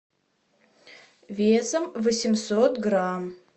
весом восемьсот грамм